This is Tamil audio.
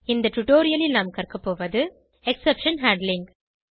இந்த டுடோரியலில் நாம் கற்கபோவது எக்ஸெப்ஷன் ஹேண்ட்லிங்